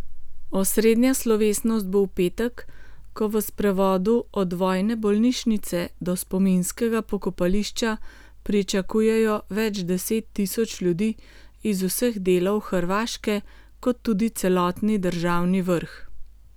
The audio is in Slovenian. Osrednja slovesnost bo v petek, ko v sprevodu od vojne bolnišnice do spominskega pokopališča pričakujejo več deset tisoč ljudi iz vseh delov Hrvaške kot tudi celotni državni vrh.